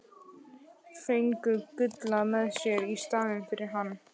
Fengu Gulla með sér í staðinn fyrir hann!